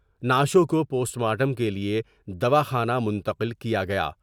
نعشوں کو post mortem کیلئے دواخانہ منتقل کیا گیا۔